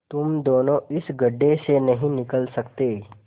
तुम दोनों इस गढ्ढे से नहीं निकल सकते